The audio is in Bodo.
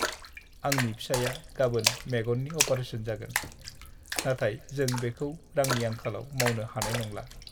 आंनि फिसाइया गाबोन मेगननि अपारेशन जागोन, नाथाय जों बेखौ रांनि आंखालाव मावनो हानाय नंला!